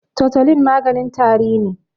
totulin maganin tari ne